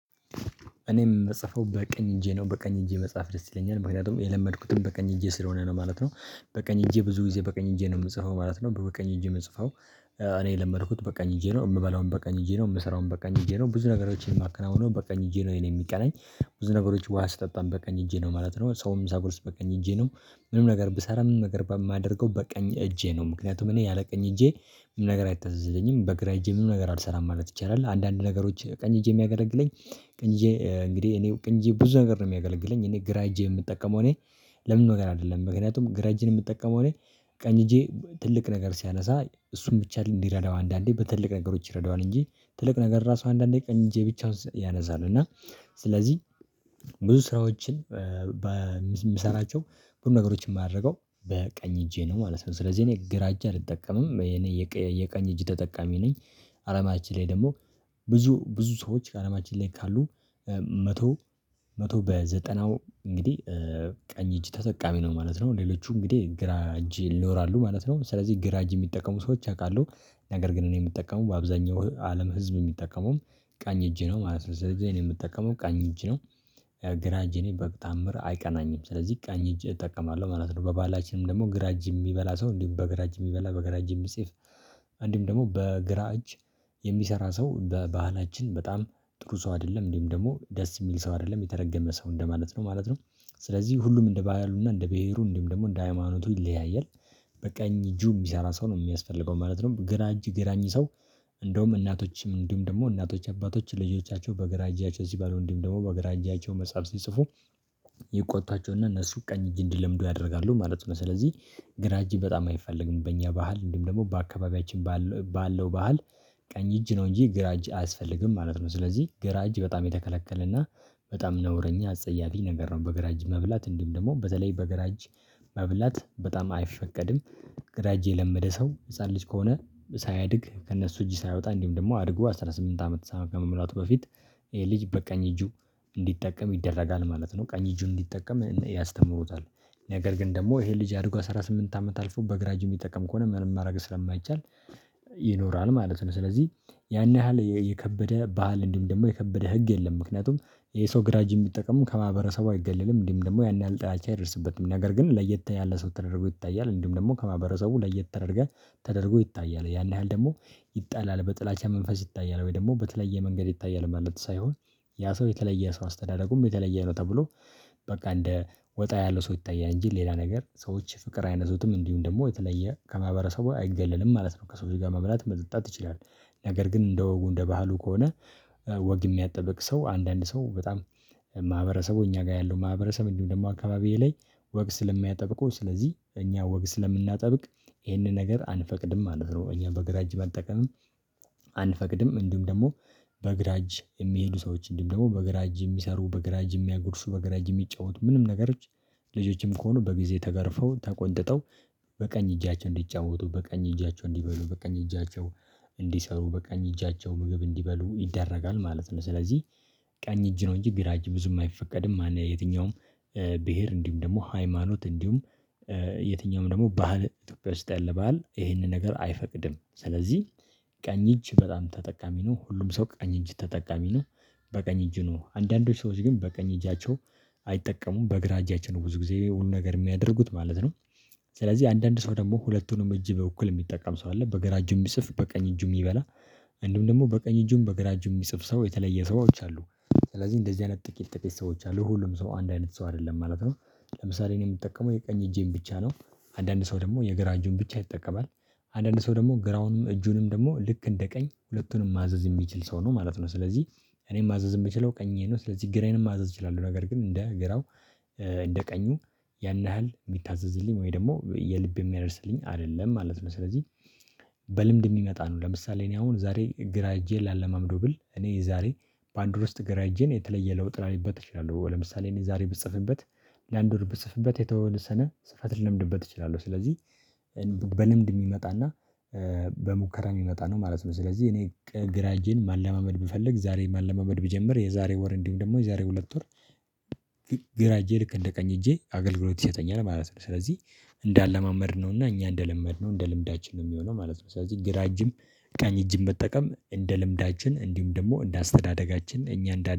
እኔም ምጽፈው በቀኝ እጄ ነው በቀኝ እጄ መጻፍ ደስ ይለኛል ምክንያቱም የለመድኩትም በቀኝ እጄ ስለሆነ ነው ማለት ነው። በቀኝ እጄ ብዙ ጊዜ በቀኝ እጄ ነው የምጽፈው ማለት ነው በቀኝ እጄ የምጽፈው። እኔ የለመድኩት በቃኝ እጄ ነው የምበላውን በቃኝ እጄ ነው የምሰራውን በቀኝ እጄ ነው ብዙ ነገሮችን የማከናውነው በቀኝ እጄ ነው የሚቀናኝ። ብዙ ነገሮች ውሃ ስጠጣም በቀኝ እጄ ነው ማለት ነው ሰውም ሳጎርስ በቀኝ እጄ ነው። ምንም ነገር ብሰራ ምንም ነገር በማደርገው በቀኝ እጄ ነው ምክንያቱም እኔ ያለ ቀኝ እጄ ምንም ነገር አይታዘዘኝም። በግራ እጄ ምን ነገር አልሰራም ማለት ይቻላል። አንዳንድ ነገሮች ቀኝ እጄ የሚያገለግለኝ ቀኝ እንግዲህ እኔው ቀኝ እጄ ብዙ ነገር ነው የሚያገለግለኝ እኔ ግራ እጄ የምጠቀመው እኔ። ለምንም ነገር አይደለም ምክንያቱም ግራ እጄን የምጠቀመው ላይ። ቀኝ እጄ ትልቅ ነገር ሲያነሳ እሱን ብቻ እንዲረዳው አንዳንዴ በትልቅ ነገሮች ይረዳዋል እንጂ። ትልቅ ነገር ራሱ አንዳንዴ ቀኝ እጄ ብቻውን ያነሳል እና ስለዚህ ብዙ ስራዎችን ምሰራቸው ሁሉ ነገሮችን የማደርገው በቀኝ እጄ ነው ማለት ነው። ስለዚህ እኔ ግራ እጅ አልጠቀምም የኔ የቀኝ እጅ ተጠቃሚ ነኝ። አለማችን ላይ ደግሞ ብዙ ብዙ ሰዎች አለማችን ላይ ካሉ መቶ መቶ በዘጠናው እንግዲህ ቀኝ እጅ ተጠቃሚ ነው ማለት ነው። ሌሎቹ እንግዲህ ግራ እጅ ይኖራሉ ማለት ነው ስለዚህ ግራ እጅ የሚጠቀሙ ሰዎች አውቃለሁ። ነገር ግን እኔ የምጠቀመው በአብዛኛው አለም ህዝብ የሚጠቀመውም ቀኝ እጅ ነው ማለት ነው ስለዚህ እኔ የምጠቀመው ቀኝ እጅ ነው። ግራ እጄ እኔ በተዓምር አይቀናኝም ስለዚህ ቀኝ እጅ እጠቀማለሁ ማለት ነው። በባህላችንም ደግሞ ግራ እጅ የሚበላ ሰው እንዲሁም በግራ እጅ የሚበላ በግራ እጅ የሚጽፍ አንድም ደግሞ በግራ እጅ የሚሰራ ሰው በባህላችን በጣም ጥሩ ሰው አይደለም እንዲሁ ም ደግሞ ደስ የሚል ሰው አይደለም የተረገመ ሰው እንደማለት ነው ማለት ነው። ስለዚህ ሁሉም እንደ ባህሉና እንደ ብሄሩ እንዲሁም ደግሞ እንደ ሃይማኖቱ ይለያያል። በቀኝ እጁ የሚሰራ ሰው ነው የሚያስፈልገው ማለት ነው። ግራ እጅ ግራኝ ሰው። እንደውም እናቶችም እንዲሁም ደግሞ እናቶች አባቶች ልጆቻቸው በግራ እጃቸው ሲበሉ እንዲሁም ደግሞ በግራ እጃቸው መጽሐፍ ሲጽፉ ይቆጣቸውና እነሱ ቀኝ እጅ እንዲለምዱ ያደርጋሉ ማለት ነው። ስለዚህ ግራ እጅ በጣም አይፈልግም በእኛ ባህል እንዲሁም ደግሞ በአካባቢያችን ባለው ባህል። ቀኝ እጅ ነው እንጂ ግራ እጅ አያስፈልግም ማለት ነው። ስለዚህ ግራ እጅ በጣም የተከለከለና በጣም ነውረኛ አጸያፊ ነገር ነው። በግር እጅ መብላት እንዲም ደግሞ በተለይ በገራ እጅ መብላት በጣም አይፈቀድም። ገራ እጅ የለመደ ሰው ህፃን ልጅ ከሆነ ሳያድግ ከእነሱ እጅ ሳያወጣ እንዲሁም ደግሞ አድጉ 18 አመት ከመሙላቱ በፊት ልጅ በቀኝ እጁ እንዲጠቀም ይደረጋል ማለት ነው። ቀኝ እጁን እንዲጠቀም ያስተምሩታል። ነገር ግን ደግሞ ይሄ ልጅ አድጎ 18 አመት አልፎ በግራ እጁ ሚጠቀም ከሆነ ምንም ማድረግ ስለማይቻል ይኖራል ማለት ነው። ስለዚህ ያን ያህል የከበደ ባህል እንዲም ደግሞ የከበደ ህግ የለም። ምክንያቱም የሰው ግራ እጅ የሚጠቀሙ ከማህበረሰቡ አይገልልም እንዲም ደግሞ ያን ያህል ጥላቻ አይደርስበትም። ነገር ግን ለየት ያለ ሰው ተደርጎ ይታያል እንዲም ደግሞ ከማህበረሰቡ ለየት ተደርገህ ተደርጎ ይታያል ያን ያህል ደግሞ ይጣላል በጥላቻ መንፈስ ይታያል ወይ ደግሞ በተለየ መንገድ ይታያል ማለት ሳይሆን። ያ ሰው የተለየ ሰው አስተዳደሩም የተለየ ነው ተብሎ በቃ እንደ ወጣ ያለው ሰው ይታያል እንጂ ሌላ ነገር ሰዎች ፍቅር አይነዙትም እንዲሁም ደግሞ የተለየ ከማህበረሰቡ አይገልልም ማለት ነው ከሰዎች ጋር መብላት መጠጣት ይቻላል። ነገር ግን እንደ ወጉ እንደ ባህሉ ከሆነ ወግ የሚያጠበቅ ሰው አንዳንድ ሰው በጣም ማህበረሰቡ እኛ ጋር ያለው ማህበረሰብ እንዲሁም ደግሞ አካባቢዬ ላይ ወግ ስለሚያጠብቁ ስለዚህ እኛ ወግ ስለምናጠብቅ ይህንን ነገር አንፈቅድም ማለት ነው። እኛ በግራ እጅ መጠቀምም አንፈቅድም። እንዲሁም ደግሞ በግራ እጅ የሚሄዱ ሰዎች እንዲሁም ደግሞ በግራ አጅ የሚሰሩ በግራ አጅ የሚያጎርሱ በግራ የሚጫወቱ ምንም ነገሮች ልጆችም ከሆኑ በጊዜ ተገርፈው ተቆንጥጠው በቀኝ እጃቸው እንዲጫወቱ በቀኝ እጃቸው እንዲበሉ በቀኝ እጃቸው እንዲሰሩ በቀኝ እጃቸው ምግብ እንዲበሉ ይደረጋል ማለት ነው። ስለዚህ ቀኝ እጅ ነው እንጂ ግራ እጅ ብዙም አይፈቀድም ማለት ነው። የትኛውም ብሄር እንዲሁም ደግሞ ሃይማኖት እንዲሁም የትኛውም ደግሞ ባህል ኢትዮጵያ ውስጥ ያለ ባህል ይሄንን ነገር አይፈቅድም ስለዚህ ቀኝ እጅ በጣም ተጠቃሚ ነው። ሁሉም ሰው ቀኝ እጅ ተጠቃሚ ነው። በቀኝ እጅ ነው አንዳንዶች ሰዎች ግን በቀኝ እጃቸው አይጠቀሙም በግራ እጃቸው ነው ብዙ ጊዜ ሁሉ ነገር የሚያደርጉት ማለት ነው። ስለዚህ አንዳንድ ሰው ደግሞ ሁለቱንም እጅ በኩል የሚጠቀም ሰው አለ በገራ እጁ የሚፅፍ በቀኝ እጁ የሚበላ እንዲሁም ደግሞ በቀኝ እጁም በግራ እጁንም የሚጽፍ ሰው የተለየ ሰዎች አሉ። ስለዚህ እንደዚህ አይነት ጥቂት ጥቂት ሰዎች አሉ ሁሉም ሰው አንድ አይነት ሰው አይደለም ማለት ነው። ለምሳሌ እኔ የምጠቀመው የቀኝ እጄን ብቻ ነው። አንዳንድ ሰው ደግሞ የግራ እጁን ብቻ ይጠቀማል። አንዳንድ ሰው ደግሞ ግራውንም እጁንም ደግሞ ልክ እንደ ቀኝ ሁለቱንም ማዘዝ የሚችል ሰው ነው ማለት ነው። ስለዚህ እኔም ማዘዝ የምችለው ቀኜ ነው። ስለዚህ ግራዬንም ማዘዝ እችላለሁ ነገር ግን እንደ ግራው እንደ ቀኙ ያን ያህል የሚታዘዝልኝ ወይ ደግሞ የልቤ የሚያደርስልኝ አይደለም ማለት ነው። ስለዚህ በልምድ የሚመጣ ነው። ለምሳሌ እኔ አሁን ዛሬ ግራ እጄ ላለማምደው ብል እኔ ዛሬ በአንድ ውር ውስጥ ገራ እጄ ነው የተለየ ለውጥ ላይበት እችለለሁ ለምሳሌ እኔ ዛሬ ብጽፍበት ላንድ ውር ብጽፍበት የተወሰነ ጽፈት ልለምድበት እችላለሁ ስለዚህ። በልምድ የሚመጣና በሙከራ የሚመጣ ነው ማለት ነው። ስለዚህ እኔ ግራ እጄን ማለማመድ ብፈልግ ዛሬ ማለማመድ ብጀምር የዛሬ ወር እንዲሁም ደግሞ የዛሬ ሁለት ወር ግራ እጄ ልክ እንደ ቀኝ እጄ አገልግሎት ይሰጠኛል ማለት ነው። ስለዚህ እንደ አላማመድ ነውና እኛ እንደ ለመድነው እንደ ልምዳችን ነው የሚሆነው ማለት ነው። ስለዚህ ግራ እጅም ቀኝ እጅም መጠቀም እንደ ልምዳችን እንዲሁም ደግሞ እንደ አስተዳደጋችን እኛ